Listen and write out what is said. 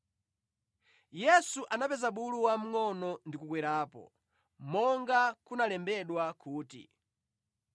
Yesu anapeza bulu wamngʼono ndi kukwerapo, monga kunalembedwa kuti: